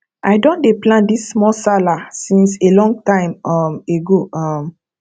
i don dey plan this small sallah since a long time um ago um